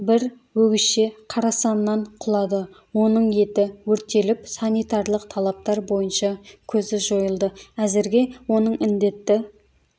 бір өгізше қарасаннан құлады оның еті өртеліп санитарлық талаптар бойынша көзі жойылды әзірге оның індетті